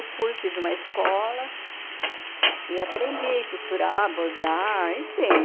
Eu fui, fiz uma escola e aprendi a costurar, bordar, enfim...